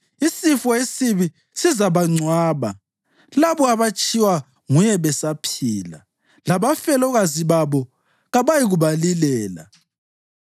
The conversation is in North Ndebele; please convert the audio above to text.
Isifo esibi sizabangcwaba labo abatshiywa nguye besaphila, labafelokazi babo kabayikubalilela.